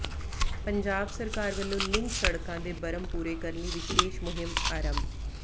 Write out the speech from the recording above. ਪੰਜਾਬ ਸਰਕਾਰ ਵੱਲੋਂ ਲਿੰਕ ਸੜਕਾਂ ਦੇ ਬਰਮ ਪੂਰੇ ਕਰਨ ਲਈ ਵਿਸ਼ੇਸ਼ ਮੁਹਿੰਮ ਆਰੰਭ